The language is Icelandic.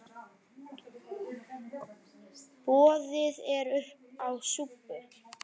Boðið er uppá súpu.